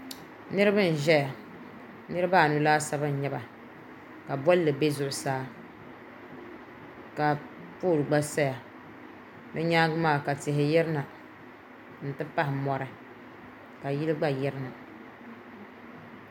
salingbiriba n-nyɛ ban zaŋ bɛ ma-ʒina n chaŋ------ mɔɣu ni n-ti gbiri salima bɛ nyɛla ban gbiri tankpa' kuuni maa ka zaŋdi soobili n toori tankpaɣu ŋɔ niŋdi bɔɣisi ni ka niŋdi kom n niŋdi bɔɣisi maa ni m paɣiri m bɔri sali